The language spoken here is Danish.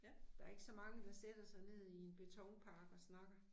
Der er ikke så mange der sætter sig ned i en betonpark og snakker